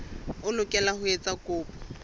o lokela ho etsa kopo